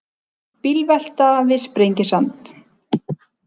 Bílvelta við Sprengisand